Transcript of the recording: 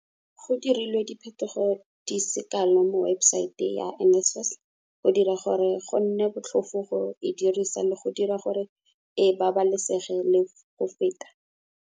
Go dirilwe diphetogo di se kalo mo webosaete ya NSFAS go dira gore go nne botlhofo go e dirisa le go dira gore e babalesege le go feta.